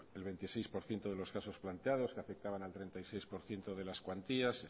el veintiséis por ciento de los casos planteados que afectaban al treinta y seis por ciento de las cuantías